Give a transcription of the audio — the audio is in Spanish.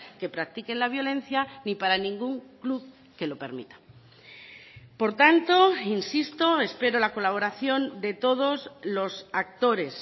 que practiquen la violencia ni para ningún club que lo permita por tanto insisto espero la colaboración de todos los actores